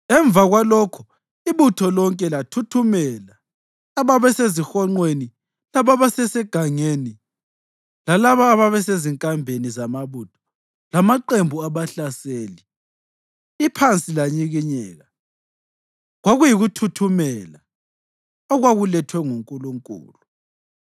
Emva kwalokho ibutho lonke lathuthumela, ababesezihonqweni lababesegangeni, lalabo ababesezinkambeni zamabutho lamaqembu abahlaseli, iphansi lanyikinyeka. Kwakuyikuthuthumela okwakulethwe nguNkulunkulu.